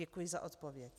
Děkuji za odpověď.